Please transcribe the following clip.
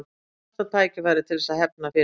Fínasta tækifæri til þess að hefna fyrir það.